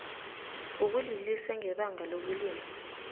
wokulilisa ngebanga lokulimala